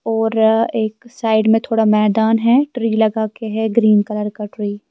.اورآ ایک سائیڈ مے تھودا میدان ہیں ترے لگاکے ہیں گرین کلر کا ترے